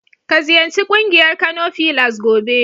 Ka ziyarci ƙungiyar Kano filas gobe.